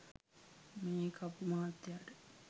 මේ කපු මහත්තයාට